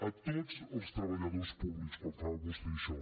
a tots els treballadors públics quan fa vostè això